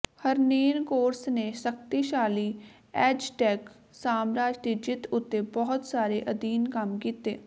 Hernan Cortes ਨੇ ਸ਼ਕਤੀਸ਼ਾਲੀ Aztec ਸਾਮਰਾਜ ਦੀ ਜਿੱਤ ਉੱਤੇ ਬਹੁਤ ਸਾਰੇ ਅਧੀਨ ਕੰਮ ਕੀਤੇ